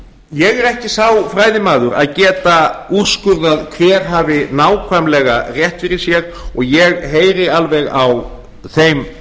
er ekki sá fræðimaður að geta úrskurðað hver hafi nákvæmlega rétt fyrir sér og ég heyri alveg á þeim